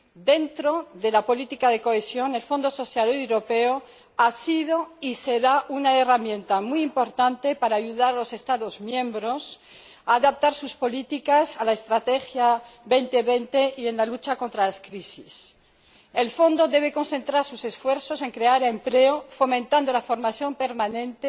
Dentro de la política de cohesión, el Fondo Social Europeo ha sido y será una herramienta muy importante para ayudar a los Estados miembros a adaptar sus políticas a la estrategia 2020 y en la lucha contra las crisis. El Fondo debe concentrar sus esfuerzos en crear empleo, fomentando la formación permanente,